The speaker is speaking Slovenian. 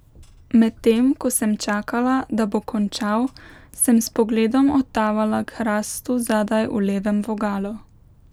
Medtem ko sem čakala, da bo končal, sem s pogledom odtavala k hrastu zadaj v levem vogalu.